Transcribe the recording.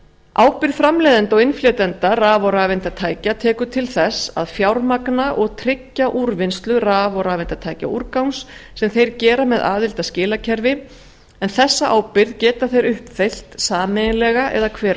ábyrgð framleiðenda og innflytjenda raf og rafeindatækja tekur til þess að fjármagna og tryggja úrvinnslu raf og rafeindatækjaúrgangs sem þeir gera með aðild að skilakerfi en þessa ábyrgð geta þeir uppfyllt sameiginlega eða hver um